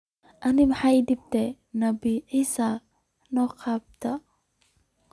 Ano maxa ii dambta nabii Issa soqabto.